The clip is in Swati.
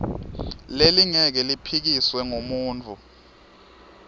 lelingeke liphikiswe ngumuntfu